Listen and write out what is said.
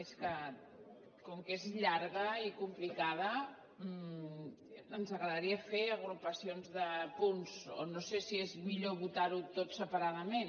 és que com que és llarga i complicada ens agradaria fer agrupacions de punts o no sé si és millor votar ho tot separadament